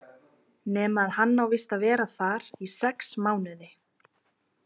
Nema að hann á víst að vera þar í sex mánuði.